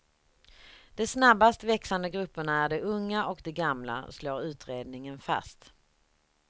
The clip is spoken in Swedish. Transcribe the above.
De snabbast växande grupperna är de unga och de gamla, slår utredningen fast.